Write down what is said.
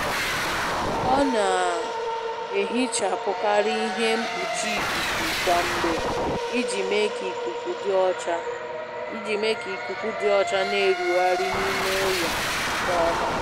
Ọ na-ehichapụkarị ihe mkpuchi ikuku kwa mgbe iji mee ka ikuku dị ọcha na-erugharị n'ime ụlọ nke ọma.